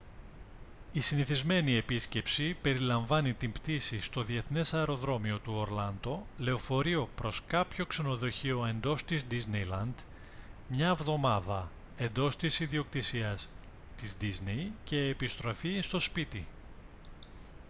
η «συνηθισμένη» επίσκεψη περιλαμβάνει την πτήση στο διεθνές αεροδρόμιο του ορλάντο λεωφορείο προς κάποιο ξενοδοχείο εντός της disneyland μια εβδομάδα εντός της ιδιοκτησίας της disney και επιστροφή στο σπίτι